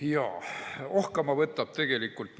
Jaa, ohkama võtab tegelikult.